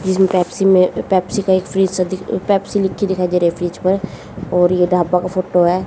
Pepsi का एक fridge सा पेप्सी लिख के दिखाई दे रही है फ्रिज पर और ये ढाबा का फोटो है।